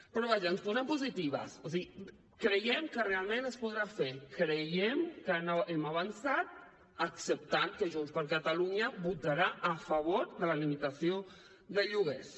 però vaja ens posem positives o sigui creiem que realment es podrà fer creiem que hem avançat acceptant que junts per catalunya votarà a favor de la limitació de lloguers